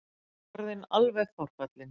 Orðinn alveg forfallinn.